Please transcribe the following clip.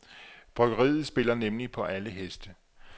Bryggeriet spiller nemlig på alle heste.